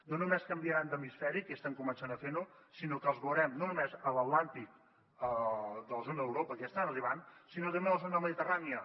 no només canviaran d’hemisferi que ja estan començant a fer ho sinó que els veurem no només a l’atlàntic de la zona d’europa que ja hi estan arribant sinó també a la zona mediterrània